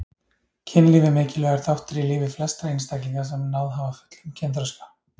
Kynlíf er mikilvægur þáttur í lífi flestra einstaklinga sem náð hafa fullum kynþroska.